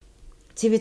TV 2